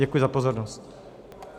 Děkuji za pozornost.